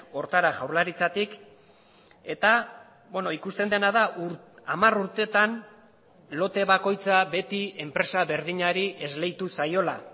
horretara jaurlaritzatik eta ikusten dena da hamar urteetan lote bakoitza beti enpresa berdinari esleitu zaiola